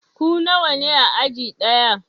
Ku nawa ne a aji ɗaya?